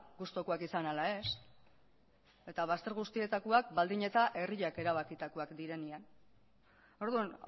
gustukoak izan ala ez eta bazter guztietakoak baldin eta herriak erabakitakoak direnean orduan